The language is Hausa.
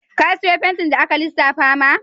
Ka siyu fentin da aka lissafa ma?